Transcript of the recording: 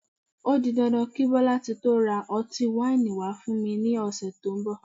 O di dandan kí Bọ́látitó ra ọtí wáìnì wá fún mi lọ́sẹ̀ tó ń bọ̀